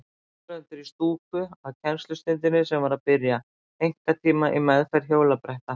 Áhorfendur í stúku að kennslustundinni sem var að byrja, einkatíma í meðferð hjólabretta.